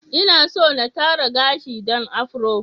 Inaso na tara gashi dan Afro.